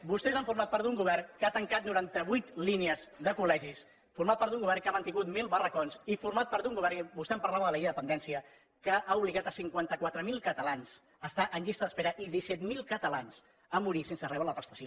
vostès han format d’un govern que ha tancat noranta vuit línies de col·legis han format d’un govern que ha mantingut mil barracons i han format part d’un govern i vostè em parlava de la llei de dependència que ha obligat cinquanta quatre mil catalans a estar en llista d’espera i a disset mil catalans a morir sense rebre la prestació